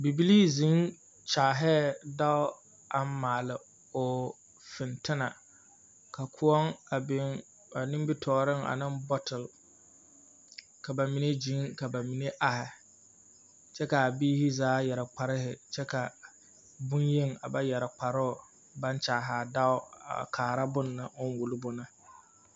Bibilii zeŋ kyaalɛɛ dao aŋ maale o fentena ka koɔ a biŋ ba nimbitooreŋ ane bɔtele, ka bamine gyiŋ ka bamine ahe kyɛ ka a biiri zaa yare kparehe kyɛ ka bonyeni a ba yare kparoo baŋ kyaahaa dao a kaaro boŋ ne o wuli bo ne. 13455